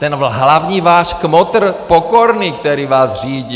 Ten hlavní váš kmotr Pokorný, který vás řídí.